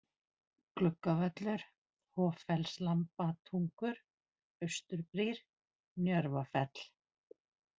Gluggavöllur, Hoffellslambatungur, Austurbrýr, Njörvafell